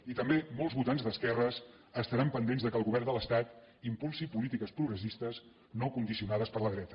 i també molts votants d’esquerres estaran pendents que el govern de l’estat impulsi polítiques progressistes no condicionades per la dreta